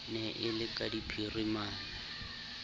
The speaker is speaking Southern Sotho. ne e le ka phirimana